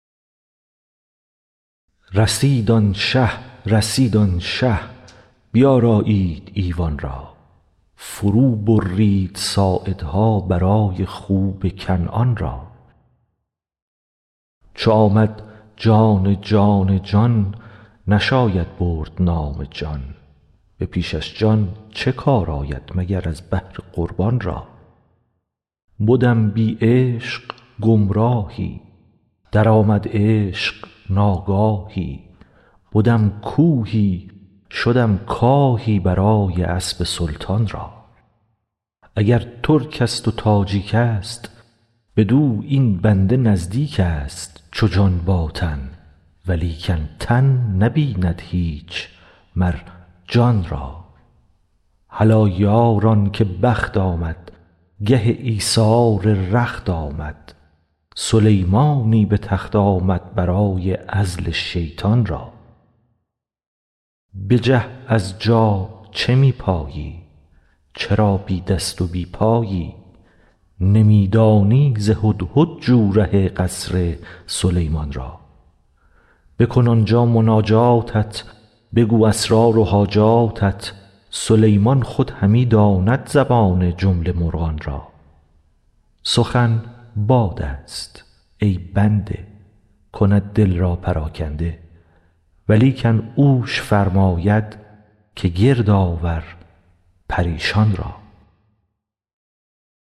رسید آن شه رسید آن شه بیارایید ایوان را فروبرید ساعدها برای خوب کنعان را چو آمد جان جان جان نشاید برد نام جان به پیشش جان چه کار آید مگر از بهر قربان را بدم بی عشق گمراهی درآمد عشق ناگاهی بدم کوهی شدم کاهی برای اسب سلطان را اگر ترکست و تاجیکست بدو این بنده نزدیکست چو جان با تن ولیکن تن نبیند هیچ مر جان را هلا یاران که بخت آمد گه ایثار رخت آمد سلیمانی به تخت آمد برای عزل شیطان را بجه از جا چه می پایی چرا بی دست و بی پایی نمی دانی ز هدهد جو ره قصر سلیمان را بکن آن جا مناجاتت بگو اسرار و حاجاتت سلیمان خود همی داند زبان جمله مرغان را سخن بادست ای بنده کند دل را پراکنده ولیکن اوش فرماید که گرد آور پریشان را